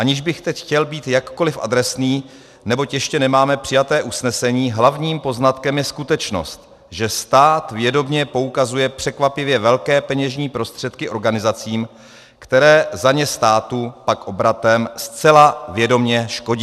Aniž bych teď chtěl být jakkoliv adresný, neboť ještě nemáme přijeté usnesení, hlavním poznatkem je skutečnost, že stát vědomě poukazuje překvapivě velké peněžní prostředky organizacím, které za ně státu pak obratem zcela vědomě škodí.